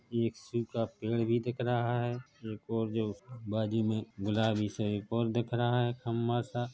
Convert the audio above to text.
ये एक सीब का पेड़ दिख रहा है एक और जो बाजू मे गुलाबी सा एक और दिख रहा है खंभा सा--